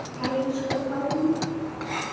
Elsku Pálmi.